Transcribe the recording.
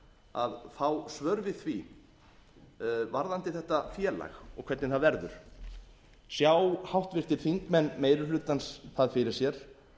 að fá svör við því varðandi þetta félag og hvernig það verður sjá háttvirtir þingmenn meiri hlutans það fyrir sér